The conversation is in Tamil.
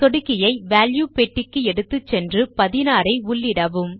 சொடுக்கியை வால்யூ பெட்டிக்கு எடுத்துச் சென்று 16 ஐ உள்ளிடவும்